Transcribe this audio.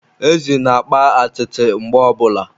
Ezi na-akpa atịtị mgbe ọbụla